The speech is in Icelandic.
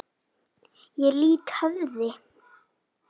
Ég lýt höfði.